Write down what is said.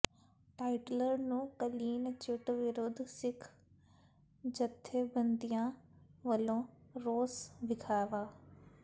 ਟਾਈਟਲਰ ਨੂੰ clean chit ਵਿਰੁੱਧ ਸਿੱਖ ਜੱਥੇਬੰਦੀਆਂ ਵੱਲੋਂ ਰੋਸ ਵਿਖਾਵਾ